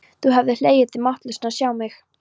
Þú hefðir hlegið þig máttlausan að sjá mig.